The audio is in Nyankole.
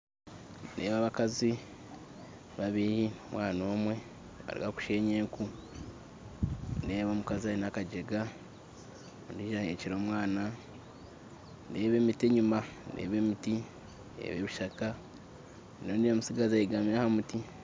Nindeeba abakazi babiri n'omwana omwe nibaruga kushenya enku nindeeba omukazi aine akagyega ondiijo aheekire omwana nindeeba emiti nindeeba emiti enyima ondiijo mutsigazi ayegami ahamuti